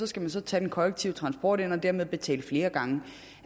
skal man så tage den kollektive transport ind og dermed betale flere gange